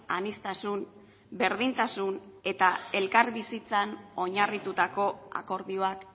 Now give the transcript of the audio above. aniztasun berdintasun eta elkarbizitzan oinarritutako akordioak